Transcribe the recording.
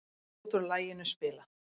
Brot úr laginu spilað